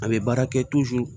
A bɛ baara kɛ